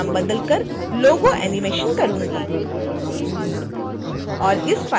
मैं डिफ़ॉल्ट नाम को बदल कर logoanimation करूँगी